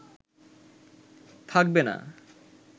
থাকবে না